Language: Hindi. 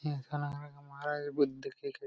ये लग रहा है कि